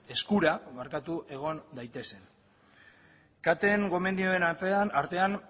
eskura egon daitezen caten gomendioen artean